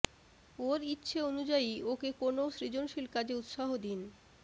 ওর ইচ্ছে অনুয়ায়ী ওকে কোনও সৃজনশীল কাজে উৎসাহ দিন